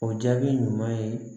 O jaabi ɲuman ye